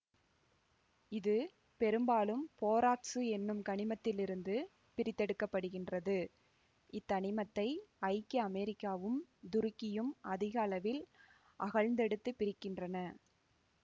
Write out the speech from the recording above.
இது பெரும்பாலும் போராக்சு என்னும் கனிமத்திலிருந்து பிரித்தெடுக்க படுகின்றது இத்தனிமத்தை ஐக்கிய அமெரிக்காவும் துருக்கியும் அதிக அளவில் அகழ்ந்தெடுத்துப் பிரிக்கின்றன